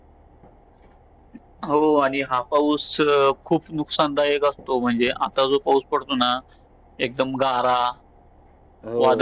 आणि माझी मित्र मैत्रिणी महाराष्ट्रावर भाषण करतात भाषण करतात. आम्ही गीत गीत गातो महाराष्ट्र महाराष्ट्रामध्ये महाराष्ट्राची राजधानी मुंबई आहे. मुंबई हा महाराष्ट्रातील सर्वात मोठे शहर आहे.